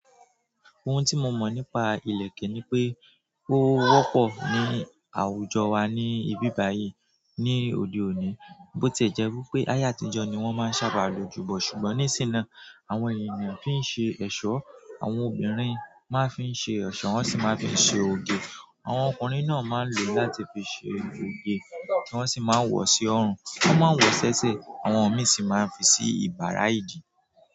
Ohun tí mo mọ̀ nípa ìlẹ̀kẹ̀ ni pé ó wọ́pọ̀ ní àwùjọ wa ní ibí báyìí ní òde òní, bó tí ẹ̀ jẹ́ wípé ayé àtijọ́ ni wọ́n máa ń sábà lò ó jù bẹ́ẹ̀ lọ. Ṣùgbọ́n ní sìn náà, àwọn ènìyàn fi ń ṣe ẹ̀ṣọ́. Àwọn obìnrin máa ń fi ṣe ẹ̀ṣọ́, wọ́n sì máa ń fi ṣe oge. Àwọn ọkùnrin náà máa ń lò ó láti fi ṣe oge, wọ́n sì máa ń wọ̀ ọ́ sí ọrùn. Wọ́n máa ń wọ̀ ẹ́ ṣẹ́ṣẹ, àwọn òmì sì máa ń fi sí ìbára ìdí.